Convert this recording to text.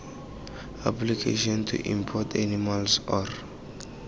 application to import animals or